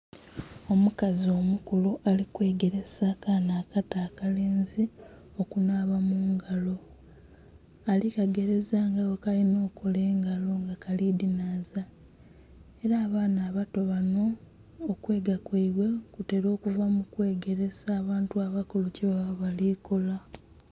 Omukazi omukulu ali kwegeresa akaana akato akalenzi okunhaaba mu ngalo ali ku kagereza nga bwekalinha okukola engalo nga kali dhinhaaza era abaana abato banho okwega kweibwe kutela okuva mu kwegeresa abantu abakulu kyebaba bali kola.